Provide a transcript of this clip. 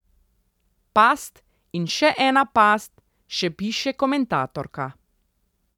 Past in še ena past, še piše komentatorka.